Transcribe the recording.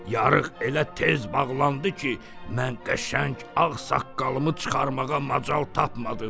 Yarıq elə tez bağlandı ki, mən qəşəng ağ saqqalımı çıxarmağa macal tapmadım.